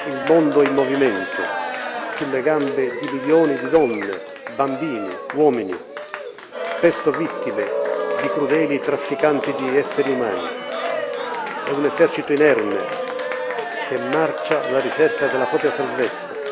Il mondo è in movimento, sulle gambe di milioni di donne, bambini, uomini, spesso vittime di crudeli trafficanti di esseri umani è un esercito inerme, che marcia alla ricerca della propria salvezza.